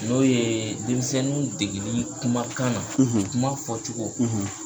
N'o ye denmisɛnninw deginin ye kuma kan na; , kuma fɔ cogo;